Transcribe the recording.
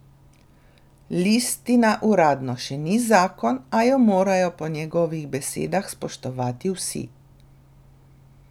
Listina uradno še ni zakon, a jo morajo po njegovih besedah spoštovati vsi.